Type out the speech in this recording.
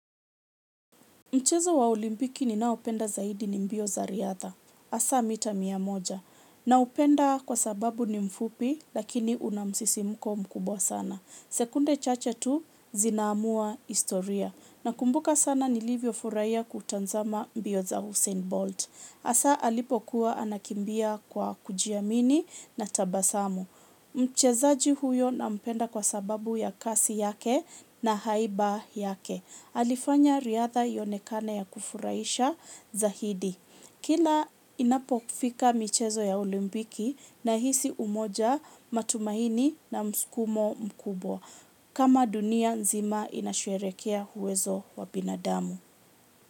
Mchezo wa Olimpiki ninaopenda zaidi ni mbio za riadha. Hasa mita mia moja. Naipenda kwa sababu ni mfupi, lakini una msisimko mkubwa sana. Sekunde chache tu zinaamua historia. Nakumbuka sana nilivyofurahia kutazama mbio za Usain Bolt. Hasa alipokuwa anakimbia kwa kujiamini na tabasamu. Mchezaji huyo nampenda kwa sababu ya kasi yake na haiba yake. Alifanya riadha ionekane ya kufurahisha zaidi. Kila inapofika michezo ya Olimpiki, nahisi umoja, matumaini na msukumo mkubwa. Kama dunia nzima inasherehekea uwezo wa binadamu.